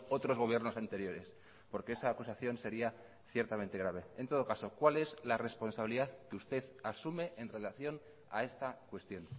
otros gobiernos anteriores porque esa acusación sería ciertamente grave en todo caso cuál es la responsabilidad que usted asume en relación a esta cuestión